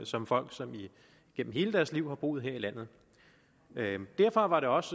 som folk som igennem hele deres liv har boet her i landet derfor var det også